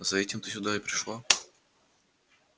за этим ты сюда и пришла